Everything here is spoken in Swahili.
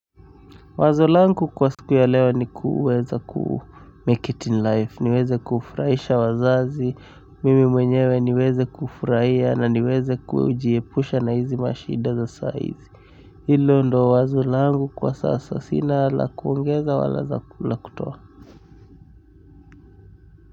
Wazo langu kwa siku ya leo ni kuweza kumake it in life. Niweze kufurahisha wazazi. Mimi mwenyewe niweze kufurahia na niweze kujiepusha na hizi mashida za saizi. Hilo ndo wazo langu kwa sasa. Sina la kuongeza wala za la kutoa.